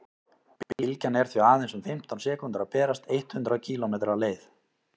bylgjan er því aðeins um fimmtán sekúndur að berast eitt hundruð kílómetri leið